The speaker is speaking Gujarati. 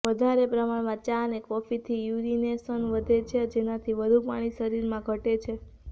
વધારે પ્રમાણમાં ચા અને કોફીથી યુરિનેશન વધે છે જેનાથી વધુ પાણી શરીરમાં ધટે છે